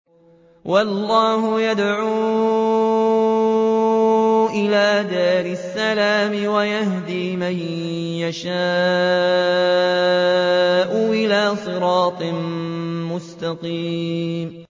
وَاللَّهُ يَدْعُو إِلَىٰ دَارِ السَّلَامِ وَيَهْدِي مَن يَشَاءُ إِلَىٰ صِرَاطٍ مُّسْتَقِيمٍ